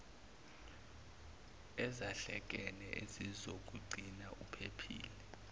ezahlekene ezizokugcina uphephile